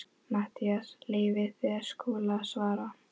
MATTHÍAS: Leyfið þið Skúla að svara.